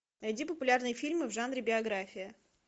найди популярные фильмы в жанре биография